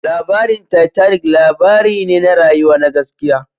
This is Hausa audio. Labarin Titanic labari ne na rayuwa na gaskiya